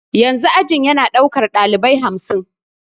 Yanzu ajin ya na daukar dalibai hamsin.